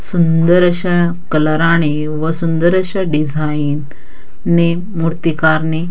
सुंदर अशा कलरा ने व सुंदर अशा डिझाईन ने मुर्तीकारने--